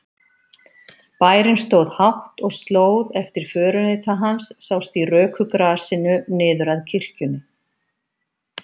Bærinn stóð hátt og slóð eftir förunauta hans sást í röku grasinu niður að kirkjunni.